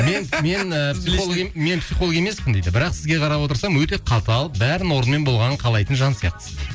мен мен ііі психолог мен психолог емеспін дейді бірақ сізге қарап отырсам өте қатал бәрінің орнымен болғанын қалайтын жан сияқтысыз дейді